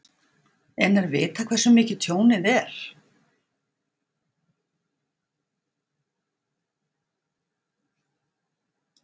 En er vitað hversu mikið tjónið er?